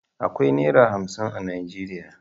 Akwai Naira hamsin a Najeriya.